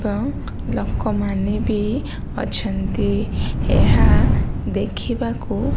ଲୋକମାନେ ବି ଅଛନ୍ତି ଏହା ଦେଖିବାକୁ --